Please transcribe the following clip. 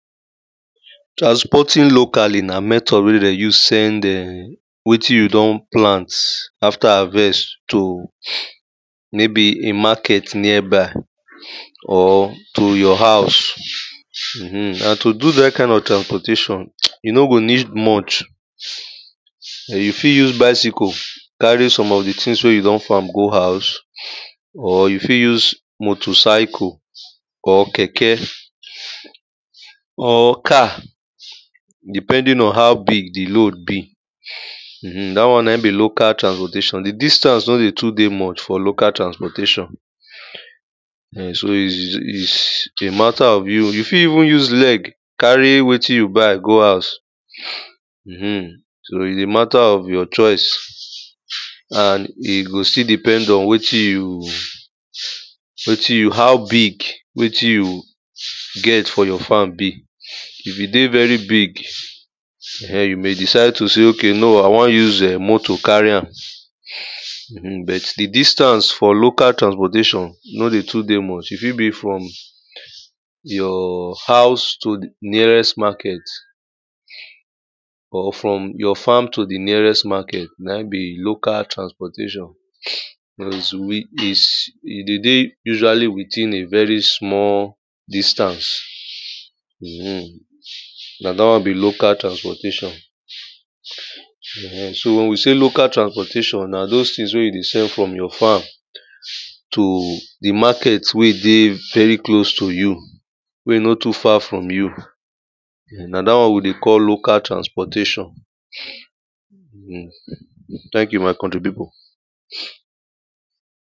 Transporting locally na method wen dem dey use send [urn] wetin you don plant after harvest, to maybe a market nearby, or to your house, [urn] and to do dat kind of transportation, you no go need much, you fit use bicycle carry some of di things wen you don farm go house, or you fit use motorcycle, or keke, or car. Depending on how big di load be [urn] dat one na im be local transportation, di distance nor dey dey too much for local transportation. [urn] so is is a matter of you, you fit even use leg, carry wetin you buy go house, [urn] so is a matter of your choice. And e go still depend on wetin you, wetin you, how big wetin you get for your farm be. E fitdey very big [urn] you may decide to sey, maybe I wan use motor carry am [urn] but di distance for local transportation no dey too dey much, e fit be from your house to di nearest market, or from your farm to di nearest market. Na im be local transportation. is is e dey dey usually within a very small distance. [urn] na dat one be local transportation [urn] so wen you sey local transportation, na doz things wen you send from your house to di market wey e dey very close to you, wey e no too far from you, na dat one we dey call local transportation. [2] tank you my country people.